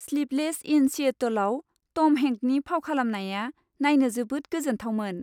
Sleepless in सिएटोलआव टम हेंकनि फाव खालामनाया नायनो जोबोद गोजोनथावमोन!